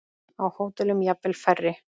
Á hótelum jafnvel færri.